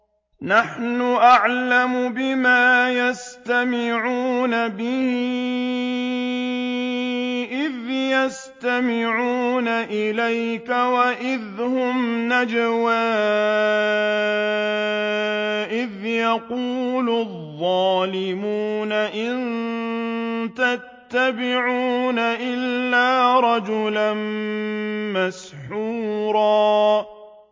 نَّحْنُ أَعْلَمُ بِمَا يَسْتَمِعُونَ بِهِ إِذْ يَسْتَمِعُونَ إِلَيْكَ وَإِذْ هُمْ نَجْوَىٰ إِذْ يَقُولُ الظَّالِمُونَ إِن تَتَّبِعُونَ إِلَّا رَجُلًا مَّسْحُورًا